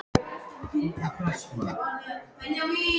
Er þetta varnarmönnunum að kenna?